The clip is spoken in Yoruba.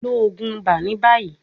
Lo oogun iba ni bayi